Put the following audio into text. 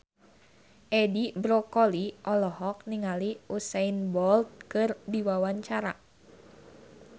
Edi Brokoli olohok ningali Usain Bolt keur diwawancara